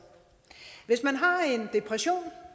hvis man har en depression